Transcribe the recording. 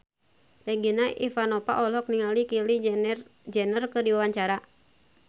Regina Ivanova olohok ningali Kylie Jenner keur diwawancara